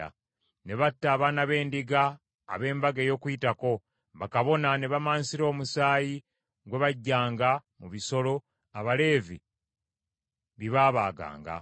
Ne batta abaana b’endiga ab’Embaga ey’Okuyitako, bakabona ne bamansira omusaayi gwe baggyanga mu bisolo, Abaleevi bye baabaaganga.